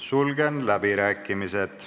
Sulgen läbirääkimised.